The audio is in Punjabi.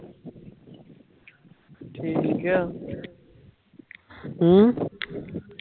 ਅਮ